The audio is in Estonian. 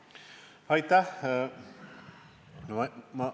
Aitäh!